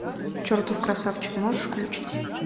чертов красавчик можешь включить